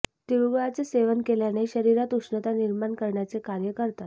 तिळगुळाचे सेवन केल्याने शरीरात उष्णता निर्माण करण्याचे कार्य करतात